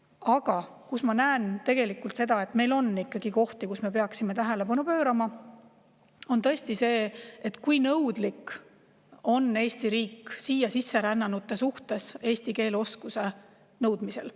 Aga ma näen tegelikult, et meil on ikkagi kohti, millele me peaksime tähelepanu pöörama: tõesti see, kui nõudlik on Eesti riik siia sisse rännanutelt eesti keele oskuse nõudmisel.